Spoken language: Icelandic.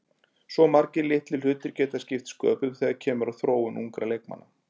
Svo margir litlir hlutir geta skipt sköpum þegar kemur að þróun ungra leikmanna.